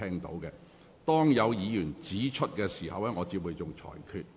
如有議員提出規程問題，我便會作出裁決。